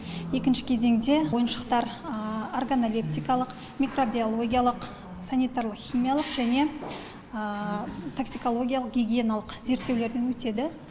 екінші кезеңде ойыншықтар органолептикалық микробиологиялық санитарлық химиялық және таксикологиялық гигиеналық зерттеулерден өтеді